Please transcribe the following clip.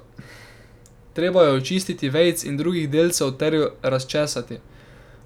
Treba jo je očistiti vejic in drugih delcev ter jo razčesati.